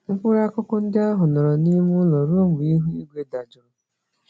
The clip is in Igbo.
Mkpụrụ-akụkụ ndị ahụ nọrọ n'ime ụlọ ruo mgbe ihu igwe dajụrụ.